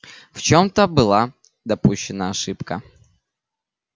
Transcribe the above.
в чём-то была допущена ошибка